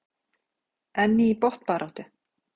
En í botnbaráttu?